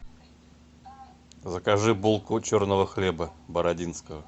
закажи булку черного хлеба бородинского